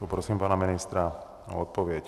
Poprosím pana ministra o odpověď.